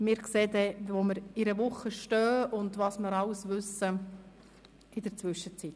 Wir werden dann sehen, wo wir in einer Woche stehen und was wir dann alles wissen werden.